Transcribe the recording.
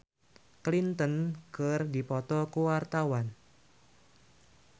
Ranty Maria jeung Hillary Clinton keur dipoto ku wartawan